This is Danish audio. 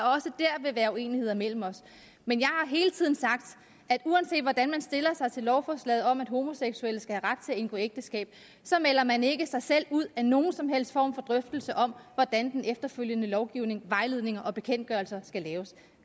vil være uenighed mellem os men jeg har hele tiden sagt at uanset hvordan man stiller sig til lovforslaget om at homoseksuelle skal have ret til at indgå ægteskab så melder man ikke sig selv ud af nogen som helst form for drøftelse om hvordan den efterfølgende lovgivning vejledninger og bekendtgørelser skal laves